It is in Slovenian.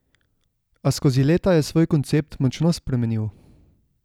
A skozi leta je svoj koncept močno spremenil.